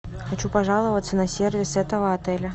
хочу пожаловаться на сервис этого отеля